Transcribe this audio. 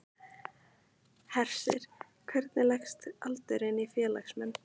Hersir, hvernig leggst aldurinn í félagsmenn?